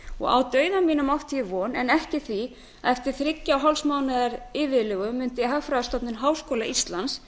fjármálafyrirtækjanna á dauða mínum átti ég von en ekki því að eftir þriggja og hálfs mánaðar bið mundi hagfræðistofnun háskóla íslands